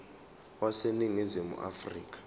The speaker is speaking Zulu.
wase ningizimu afrika